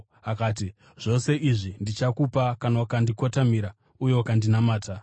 akati, “Zvose izvi ndichakupa kana ukandikotamira uye ukandinamata.”